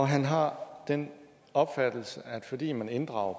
han har den opfattelse at fordi man inddrager